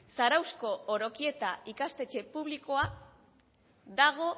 zarauzko orokieta ikastetxe publikoa dago